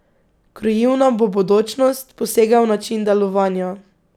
Krojil nam bo bodočnost, posegel v način delovanja.